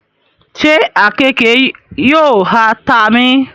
ṣe àkekèé yóò ha ta mí?